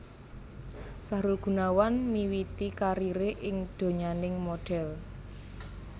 Sahrul Gunawan miwiti kariré ing donyaning modhel